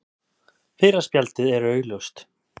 Fyrra spjaldið er augljóst.